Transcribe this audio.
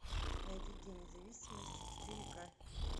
найди день независимости четыре ка